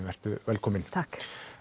vertu velkomin takk